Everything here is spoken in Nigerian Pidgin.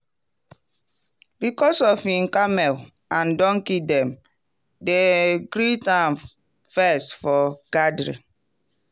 because of him camel and donkey dem dey greet am first for gathering.